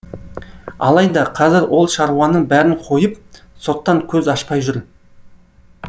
алайда қазір ол шаруаның бәрін қойып соттан көз ашпай жүр